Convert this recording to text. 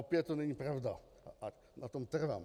Opět to není pravda a na tom trvám!